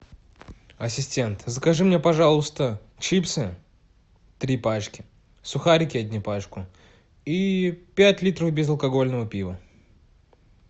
ассистент закажи мне пожалуйста чипсы три пачки сухарики одни пачку и пять литров безалкогольного пива